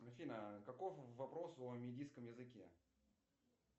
афина каков вопрос о медийском языке